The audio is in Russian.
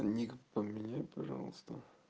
ник поменяй пожалуйста